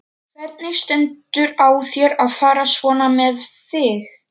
Hvernig stendur á þér að fara svona með þig?